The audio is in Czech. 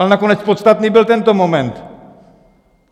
Ale nakonec podstatný byl tento moment.